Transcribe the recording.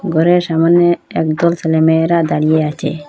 ঘরের সামনে একদল ছেলে মেয়েরা দাঁড়িয়ে আচে।